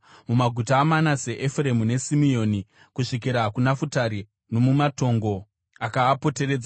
Mumaguta aManase, Efuremu neSimeoni kusvikira kuNafutari, nomumatongo akaapoteredza,